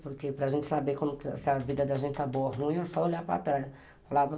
Porque para a gente saber se a vida da gente está boa ou ruim, é só olhar para trás.